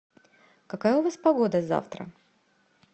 какая у вас погода завтра